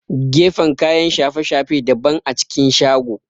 Gefen kayan shafe-shafe daban a cikin shago